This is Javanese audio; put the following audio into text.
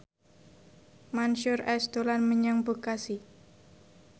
Mansyur S dolan menyang Bekasi